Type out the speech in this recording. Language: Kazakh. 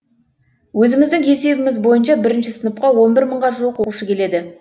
өзіміздің есебіміз бойынша бірінші сыныпқа он бір мыңға жуық оқушы келеді